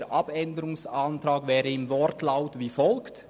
Der Abänderungsantrag wäre im Wortlaut wie folgt: